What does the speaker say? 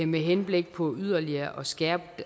med henblik på yderligere at skærpe